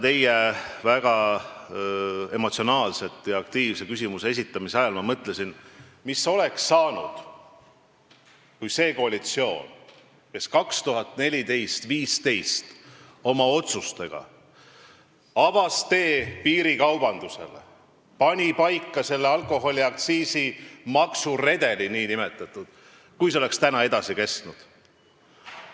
Teie väga emotsionaalse ja aktiivse küsimuse esitamise ajal ma mõtlesin, mis oleks saanud, kui see koalitsioon, kes aastatel 2014–2015 avas oma otsustega tee piirikaubandusele, pani paika selle alkoholiaktsiisi nn maksuredeli, oleks edasi kestnud.